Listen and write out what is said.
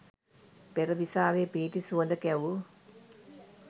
පෙරදිසාවේ පිහිටි සුවඳ කැවූ